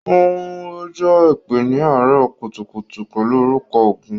Óun rọ̀jò èpè ni àárọ̀ kùtùkùtù pẹlu orúkọ ọgún.